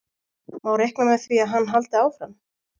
Má reikna með því að hann haldi áfram?